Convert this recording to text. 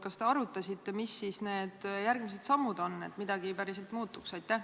Kas te arutasite, mis need järgmised sammud on, et midagi päriselt muutuks?